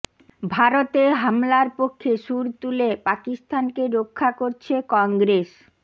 ভারতে হামলার পক্ষে সুর তুলে পাকিস্তানকে রক্ষা করছে কংগ্রেস